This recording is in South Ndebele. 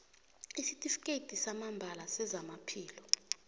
isitifikhethi samambala sezamaphilo